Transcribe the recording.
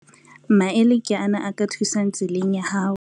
Maele ke ana a ka o thusang tseleng ya hao.